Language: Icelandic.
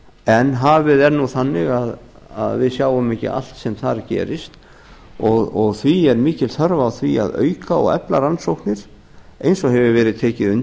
en hafið er nú þannig að við sjáum ekki allt sem þar gerist og því er mikil þörf á því að auka og efla rannsóknir eins og hefur verið tekið undir